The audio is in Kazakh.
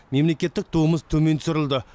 мемлекеттік туымыз төмен түсірілді